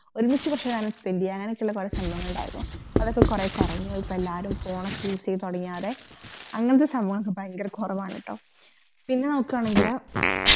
ഒരുമിച്ച് കൊറച്ചു നേരം spend യാണ് അങ്ങനൊക്കെ കൊറേ സഭാവങ്ങളിണ്ടായിരുന്നു അതൊക്കെ കൊറേ കൊറഞ്ഞുപോയി ഇപ്പോ എല്ലാരും phone ക്കെ use തൊടങ്യോടെ അങ്ങനത്തെ സംഭവം ഭയങ്കര കൊറവാണട്ടോ പിന്നെ നോക്കണെങ്കില്